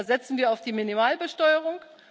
Da setzen wir auf die Minimalbesteuerung.